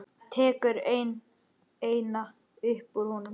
Tekur eina upp úr honum.